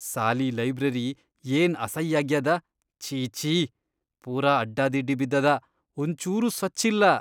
ಸಾಲೀ library ಏನ್ ಅಸೈಯಾಗ್ಯಾದ ಛೀ, ಛೀ, ಪೂರಾ ಅಡ್ಡಾದಿಡ್ಡಿ ಬಿದ್ದದ ಒಂಚೂರೂ ಸ್ವಚ್ಛ್ ಇಲ್ಲಾ.